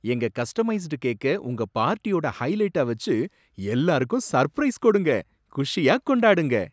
எங்க கஸ்டமைஸ்டு கேக்க உங்க பார்ட்டியோட ஹைலைட்டா வச்சு எல்லாருக்கும் சர்ப்ரைஸ் கொடுங்க, குஷியா கொண்டாடுங்க.